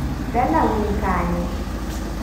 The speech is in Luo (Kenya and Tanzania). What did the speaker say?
Dalau ni kanye?